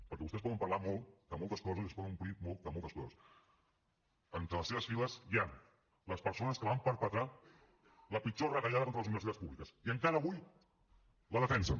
perquè vostès poden parlar molt de moltes coses i es poden omplir molt de moltes coses entre les seves files hi han les persones que van perpetrar la pitjor retallada contra les universitats públiques i encara avui la defensen